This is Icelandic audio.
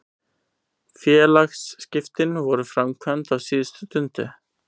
Félagsskiptin voru framkvæmd á síðustu stundu.